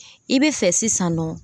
I bɛ fɛ sisan nɔ.